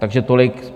Takže tolik.